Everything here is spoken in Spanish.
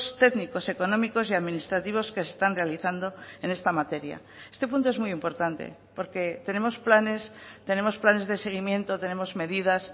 técnicos económicos y administrativos que se están realizando en esta materia este punto es muy importante porque tenemos planes tenemos planes de seguimiento tenemos medidas